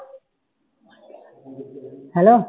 Hello